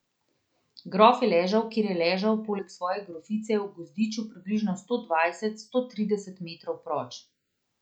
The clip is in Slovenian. Grof je ležal, kjer je ležal, poleg svoje grofice, v gozdiču približno sto dvajset, sto trideset metrov proč.